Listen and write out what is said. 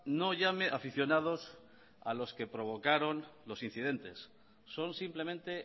no llame aficionados a los que provocaron los incidentes son simplemente